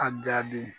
A jaabi